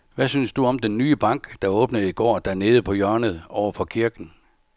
Hvad synes du om den nye bank, der åbnede i går dernede på hjørnet over for kirken?